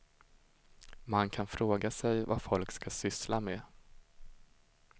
Man kan fråga sig vad folk ska syssla med.